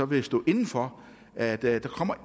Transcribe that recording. vil stå inde for at der